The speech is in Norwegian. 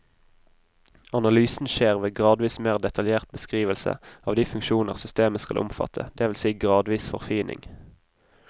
Analysen skjer ved gradvis mer detaljert beskrivelse av de funksjoner systemet skal omfatte, det vil si gradvis forfining.